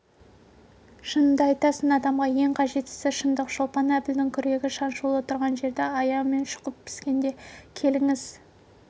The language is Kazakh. шыныңды айтасың адамға ең қажеттісі шындық шолпан әбілдің күрегі шаншулы тұрған жерді аяғымен шұқып піскенде келіңіз